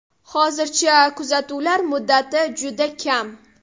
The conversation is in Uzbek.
Hozircha kuzatuvlar muddati juda kam.